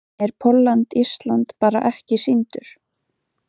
Er Pólland-Ísland bara ekki sýndur?